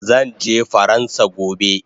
Zanje faransa gobe